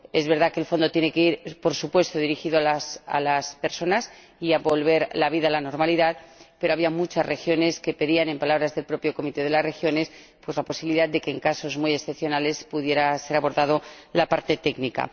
Es verdad que el Fondo tiene que ir, por supuesto, dirigido a las personas y a devolver la normalidad, pero había muchas regiones que pedían, en palabras del propio Comité de las Regiones, la posibilidad de que, en casos muy excepcionales, pudiera ser abordada la parte técnica.